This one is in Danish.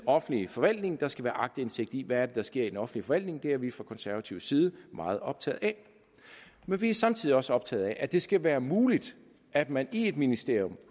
offentlige forvaltning der skal være aktindsigt i hvad der sker i den offentlige forvaltning det er vi fra konservatives side meget optaget af men vi er samtidig også optaget af at det skal være muligt at man i et ministerium